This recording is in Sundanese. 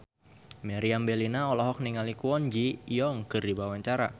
Meriam Bellina olohok ningali Kwon Ji Yong keur diwawancara